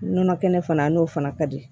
Nɔnɔ kɛnɛ fana a n'o fana ka di